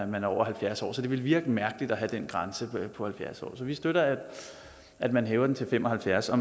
man er over halvfjerds år så det ville virke mærkeligt at have den grænse på halvfjerds år så vi støtter at man hæver den til fem og halvfjerds år